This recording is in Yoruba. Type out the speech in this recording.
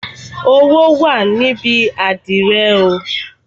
Owó wà níbi àdìrẹ oo